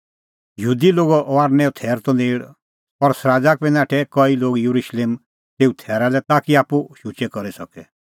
यहूदी लोगो फसहेओ थैर त नेल़ और सराज़ा का बी नाठै कई लोग येरुशलेम तेऊ थैरा लै ताकि आप्पू शुचै करी सके